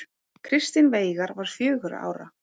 Kristinn Veigar var fjögurra ára.